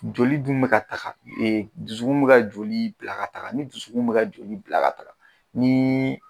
Joli dun bi ka taga e dusukun be ka joli bila ka taga ni dusukun be ka joli bila ka taga nii